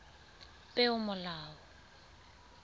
peomolao